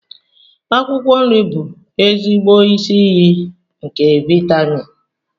akwụkwọ nri bụ ezigbo isi iyi nke vitamin